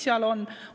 Mis seal on?